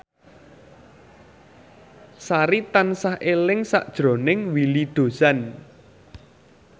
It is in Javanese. Sari tansah eling sakjroning Willy Dozan